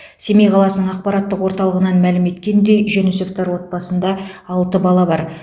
семей қаласының ақпараттық орталығынан мәлім еткендей жүнісовтар отбасында алты бала бар